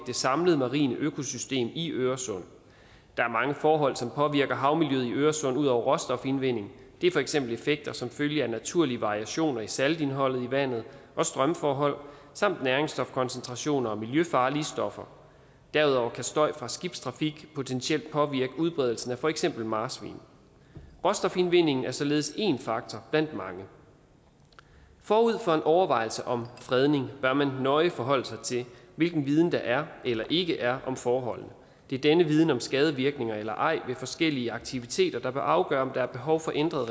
det samlede marine økosystem i øresund der er mange forhold som påvirker havmiljøet i øresund ud over råstofindvinding det er for eksempel effekter som følge af naturlige variationer i saltindholdet i vandet og strømforhold samt næringsstofkoncentrationer og miljøfarlige stoffer derudover kan støj fra skibstrafik potentielt påvirke udbredelsen af for eksempel marsvin råstofindvindingen er således én faktor blandt mange forud for en overvejelse om fredning bør man nøje forholde sig til hvilken viden der er eller ikke er om forholdene det er denne viden om skadevirkninger eller ej ved forskellige aktiviteter der bør afgøre om der er behov for ændret